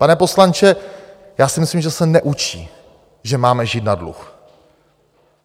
Pane poslanče, já si myslím, že se neučí, že máme žít na dluh.